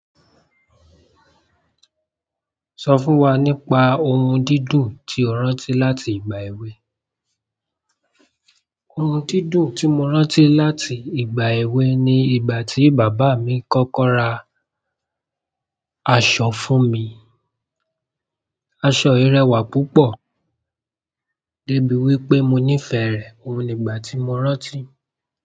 Sọ fún wa nípa ohun dídùn tí o rántí láti ìgbà èwe. Ohun dídùn tí mo rántí láti ìgbà èwe ni ìgbà tí bàbá mi kọ́kọ́ ra aṣọ fún mi. Aṣọ i rẹwà púpọ̀, dé bí wípé mo nífẹ̀ẹ́ rẹ̀. Ohun ni ìgbà tí mo rántí.